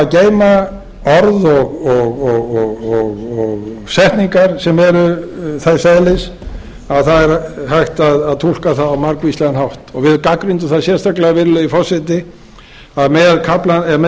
hafa að geyma orð og setningar sem eru þess eðlis að það er hægt að túlka það á margvíslegan hátt við gagnrýndum það sérstaklega virðulegi forseti að